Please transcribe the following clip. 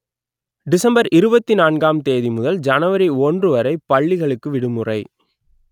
December இருபத்தி நான்கு ஆம் தேதி முதல் ஜனவரி ஒன்று வரை பள்ளிகளுக்கு விடுமுறை